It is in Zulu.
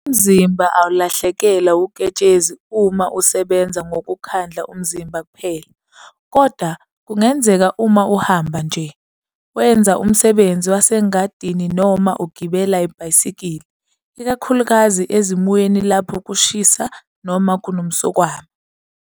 Umzimba awulahlekelwa uketshezi uma usebenza ngokukhandla umzimba kuphela, kodwa kungenzeka uma uhamba nje, wenza umsebenzi wasengadini noma ugibela ibhayisikili, ikakhulukazi ezimweni lapho kushisa noma kunomswakama.